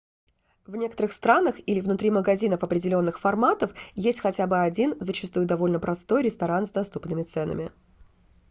в некоторых странах или внутри магазинов определенных форматов есть хотя бы один зачастую довольно простой ресторан с доступными ценами